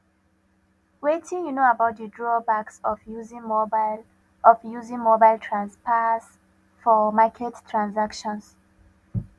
wetin you know about di drawbacks of using mobile of using mobile transfers for market transactions